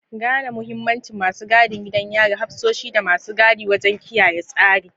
Gane mahimmancin masu gadin gidan yari, hafsoshi, da masu gadi wajen kiyaye tsari.